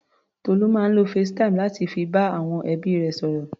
Tolú máa ń lo facetime láti fi bá àwọn ẹbí rẹ̀ sọ̀rọ̀.